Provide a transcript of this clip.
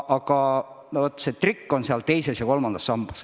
Aga trikk on teises ja kolmandas sambas.